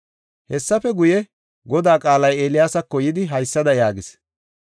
Hessafe guye, Godaa qaalay Eeliyaasako yidi haysada yaagis;